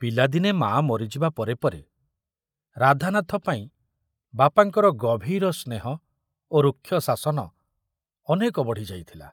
ପିଲାଦିନେ ମା ମରିଯିବା ପରେ ପରେ ରାଧାନାଥ ପାଇଁ ବାପାଙ୍କର ଗଭୀର ସ୍ନେହ ଓ ରୁକ୍ଷ ଶାସନ ଅନେକ ବଢ଼ିଯାଇଥିଲା।